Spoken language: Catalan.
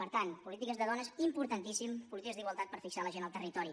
per tant polítiques de dones importantíssim polítiques d’igualtat per fixar la gent al territori